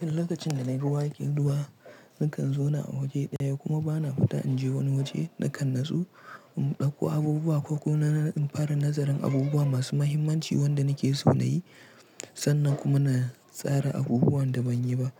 Duk lokacin da na yi ruwa ake ruwa, nakan zauna a waje ɗaya kuma ba na fita in je wani waje da kan natsu in ɗauko abubuwa ko kuma in fara nazarin abubuwa masu mahimmanci wanda nake so na yi sannan kuma na tsara abubuwan da ban yi ba.